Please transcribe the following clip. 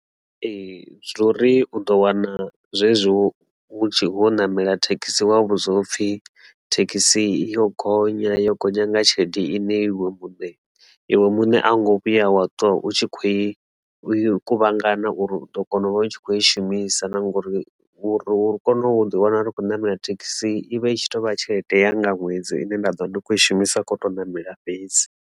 Ee, zwo uri u ḓo wana zwezwo vhunzhi ha u namela thekhisi wa vhudzwa upfhi thekhisi yo gonyela yo gonya nga tshelede ine iwe muṋe iwe muṋe a ngo vhuya wa twa u tshi kho i kuvhangana uri u ḓo kona u vha u tshi kho i shumisa na ngori uri u kone u ḓi wana ndi kho namela thekhisi i vha i tshi to vha tshelede nga ṅwedzi ine nda ḓovha ndi khou i shumisa kho to ṋamela fhedzi.